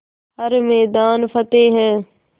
हर मैदान फ़तेह